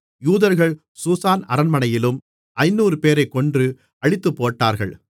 யூதர்கள் சூசான் அரண்மனையிலும் ஐந்நூறுபேரைக் கொன்று அழித்துப்போட்டார்கள்